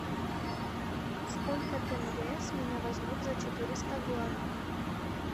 сколько тенге с меня возьмут за четыреста гуарани